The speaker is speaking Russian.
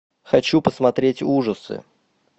хочу посмотреть ужасы